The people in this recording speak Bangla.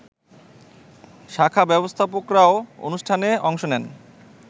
শাখা ব্যবস্থাপকরাও অনুষ্ঠানে অংশ নেন